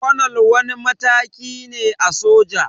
Kwanal wani mataki ne a soja